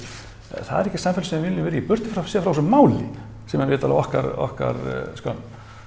það er ekki samfélag sem við viljum vera í burtséð frá þessu máli sem er vitanlega okkar okkar skömm